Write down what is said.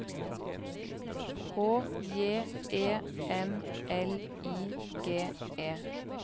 H J E M L I G E